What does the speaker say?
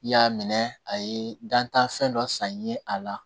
I y'a minɛ a ye dantanfɛn dɔ san ye a la